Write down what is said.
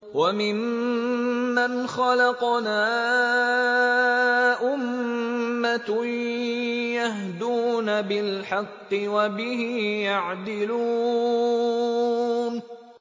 وَمِمَّنْ خَلَقْنَا أُمَّةٌ يَهْدُونَ بِالْحَقِّ وَبِهِ يَعْدِلُونَ